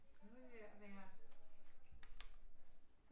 Nu er vi ved at være